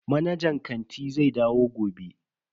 Manajan kanti zai dawo gobe.